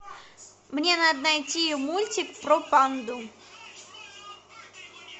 мне надо найти мультик про панду